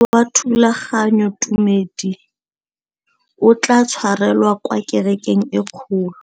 Mokete wa thulaganyôtumêdi o tla tshwarelwa kwa kerekeng e kgolo.